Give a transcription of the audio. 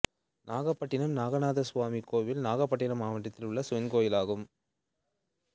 நாகப்பட்டினம் நாகநாதசுவாமி கோயில் நாகப்பட்டினம் மாவட்டத்தில் உள்ள சிவன் கோயிலாகும்